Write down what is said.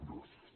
gràcies